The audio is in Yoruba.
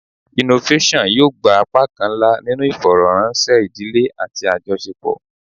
Innovation yoo gba apakan nla ninu ifọrọranṣẹ idile ati ajọṣepọ